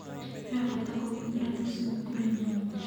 He bata kũgitĩra tũcui kurĩ nyamũ njũru